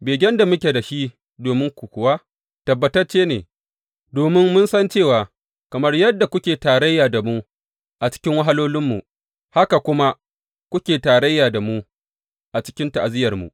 Begen da muke da shi dominku kuwa, tabbatacce ne, domin mun san cewa kamar yadda kuke tarayya da mu a cikin wahalolinmu, haka kuma kuke tarayya da mu a cikin ta’aziyyarmu.